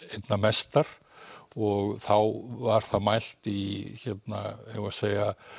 einna mestar og þá var það mælt í eigum við að segja